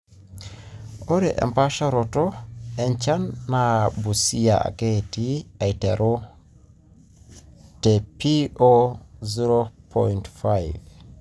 ore empaasharoto enchan naa naa busia ake etii eiteru te P-0.O5